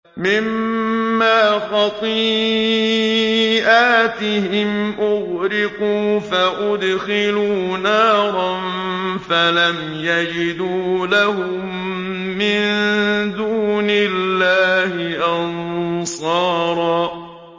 مِّمَّا خَطِيئَاتِهِمْ أُغْرِقُوا فَأُدْخِلُوا نَارًا فَلَمْ يَجِدُوا لَهُم مِّن دُونِ اللَّهِ أَنصَارًا